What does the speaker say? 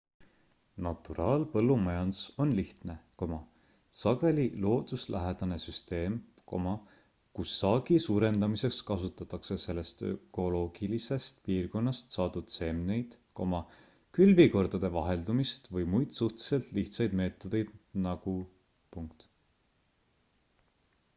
naturaalpõllumajandus on lihtne sageli looduslähedane süsteem kus saagi suurendamiseks kasutatakse sellest ökoloogilisest piirkonnast saadud seemneid külvikordade vaheldumist või muid suhteliselt lihtsaid meetodeid nagu